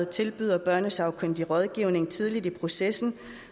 tilbyder børnesagkyndig rådgivning tidligt i processen